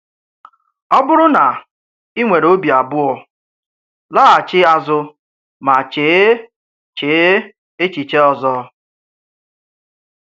Ọ̀bụ̀rụ̀ na ị̀ nwèrè òbì àbụọ̀, làghàchí àzụ mà chéè chéè èchìche ọzọ